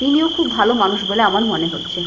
তিনিও খুব ভালো মানুষ বলে আমার মনে হচ্ছে।